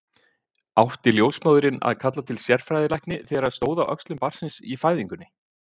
Átti ljósmóðirin að kalla til sérfræðilækni þegar stóð á öxlum barnsins í fæðingunni?